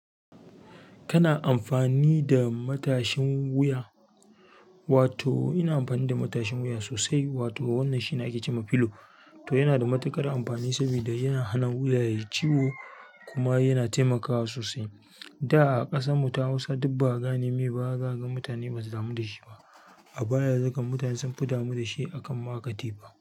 Kana amfani da matashin wuya? Wato ina amfani da matashin wuya sosai. Wato wannan shine ake ce ma filo. To yana da matuƙar amfani saboda yana hana wuya yai ciwo kuma yana taimakawa sosai. Da a ƙasan mu ta Hausa duk ba a gane mai ba zakaga mutane ba su damu da shi ba. Amma yanzu kam mutane sun fi damu da shi akan ma katifa.